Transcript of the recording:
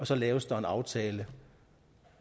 så laves en aftale